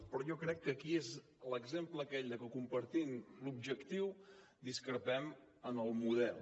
però jo crec que aquí és l’exemple aquell de que compartint l’objectiu discrepem en el model